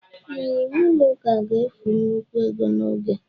ee, iwu ụlọ ụka ga-efu nnukwu ego na oge